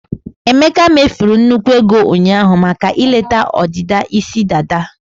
emeka mefuru nnukwu ego ụnyaahụ maka ileta ọdịdị isi dada.